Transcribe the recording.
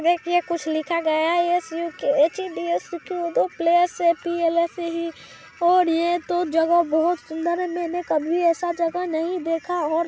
ये कुछ लिखा गया है एस_यु_के_एच_डी_ई_ओ सुखदेव पैलेस पी_ऐ_एल_ऐ_सी_ई और यह तो जगह बहोत सुन्दर है मेने कभी ऐसा जगह नहीं देखा और--